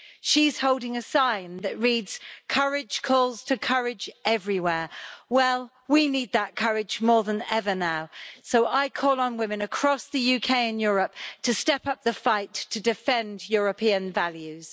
She's holding a sign that reads courage calls to courage everywhere'. Well, we need that courage more than ever now, so I call on women across the UK and Europe to step up the fight to defend European values.